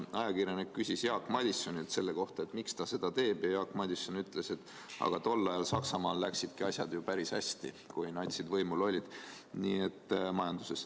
Ajakirjanik küsis Jaak Madisonilt, miks ta seda teeb, ja Jaak Madison ütles, et aga tol ajal Saksamaal läksidki majanduses asjad ju päris hästi, kui natsid võimul olid.